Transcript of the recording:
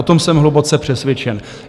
O tom jsem hluboce přesvědčen.